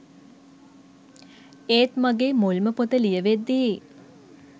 ඒත් ‍මගේ මුල්ම පොත ලියවෙද්දි